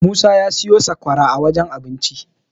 Musa ya siyo sakwara a wajen abincin.